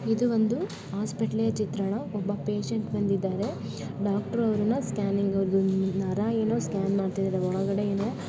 ಇದು ಒಂದು ಹಾಸ್ಪಿಟಲ್ ಚಿತ್ರಣ ಒಬ್ಬ ಪೇಶೆಂಟ್‌ ಬಂದಿದ್ದಾನೆ ಡಾಕ್ಟರ್‌ ಅವರನ್ನ ಸ್ಕ್ಯಾನಿಂಗ್‌ ನರ ಸ್ಕ್ಯಾನಿಂಗ್‌ ಏನೋ ಮಾಡ್ತಾ ಇದ್ದಾರೆ ಒಳಗಡೆ ಏನೋ--